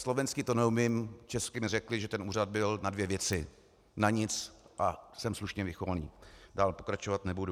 Slovensky to neumím, česky mi řekli, že ten úřad byl na dvě věci: na nic a jsem slušně vychovaný, dál pokračovat nebudu.